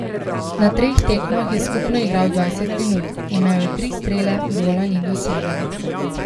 Na treh tekmah je skupno igral dvajset minut, imel je tri strele, gola ni dosegel.